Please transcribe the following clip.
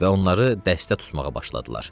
və onları dəstə tutmağa başladılar.